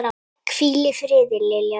Hvíl í friði, Lilja Rós.